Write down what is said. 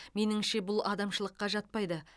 меніңше бұл адамшылыққа жатпайды